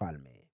baada yake.